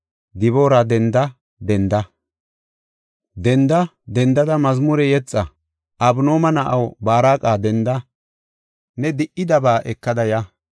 Diboora, Denda! Denda! Denda! Dendada mazmure yexa. Abinooma na7aw, Baaraqa, denda! ne di77idabaa ekada ya.